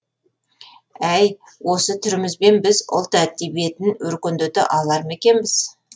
әй осы түрімізбен біз ұлт әдебиетін өркендете алар ма екенбіз